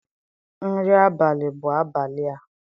Nri abalị bụ abalị a.